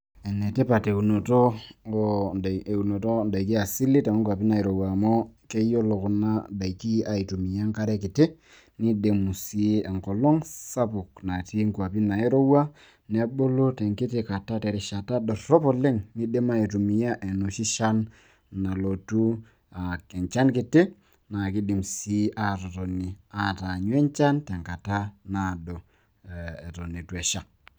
enetipat eunoto oodaikin, asili too nkuapi nairowua amu keyiolo kuna daiki aitumia enkare kiti, nidimu sii enkolong' sapuk natii inkuapi nairowua, nebulu tenkiti rishata dorop oleng, neidim aitumia enoshi shan nalotu anaa enchan kiti. naa kidim sii aatotoni ataanyu enchan tenkata naado, eton eitu esha.